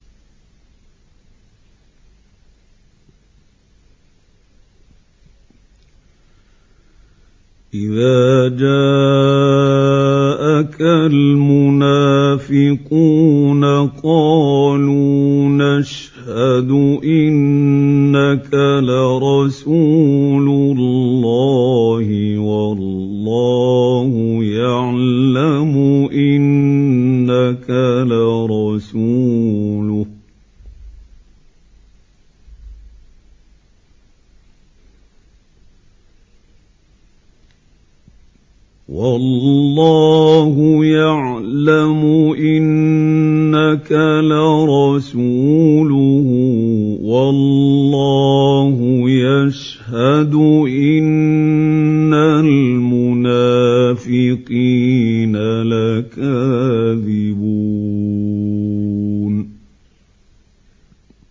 إِذَا جَاءَكَ الْمُنَافِقُونَ قَالُوا نَشْهَدُ إِنَّكَ لَرَسُولُ اللَّهِ ۗ وَاللَّهُ يَعْلَمُ إِنَّكَ لَرَسُولُهُ وَاللَّهُ يَشْهَدُ إِنَّ الْمُنَافِقِينَ لَكَاذِبُونَ